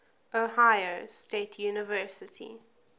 ohio state university